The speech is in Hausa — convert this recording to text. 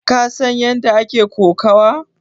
Ka san ƴanda ake ƙokawa?